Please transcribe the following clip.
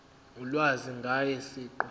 ulwazi ngaye siqu